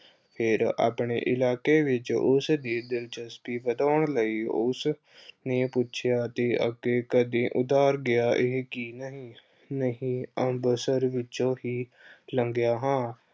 ਫਿਰ ਆਪਣੇ ਇਲਾਕੇ ਵਿੱਚ ਉਸਦੀ ਦਿਲਚਸਪੀ ਵਧਾਉਣ ਲਈ ਉਸਨੇ ਪੁੱਛਿਆ ਤੇ ਅੱਗੇ ਕਦੇ ਉੱਧਰ ਗਿਆ ਐ ਕਿ ਨਹੀਂ, ਨਹੀਂ ਅੰਮ੍ਰਿਤਸਰ ਵਿੱਚੋਂ ਹੀ ਅਹ ਲੰਘਿਆ ਹਾਂ।